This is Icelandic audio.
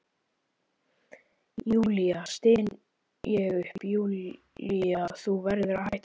Júlía, styn ég upp, Júlía, þú verður að hætta þessu.